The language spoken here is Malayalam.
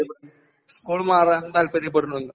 നീ..സ്കൂള് മാറാൻ താല്പര്യപ്പെടുന്നുണ്ടോ?